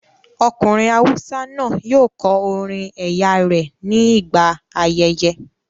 Ọkùnrin awúsá náà yóò kọ orin ẹ̀yà rẹ ní gbà ayẹyẹ